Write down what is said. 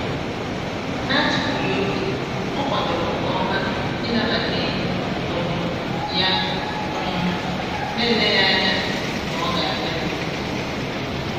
n'atufughị oge ọ kwadoro nke ọma ịnabata enyi um ya um na o leghị ányá na ọ ga-abịa.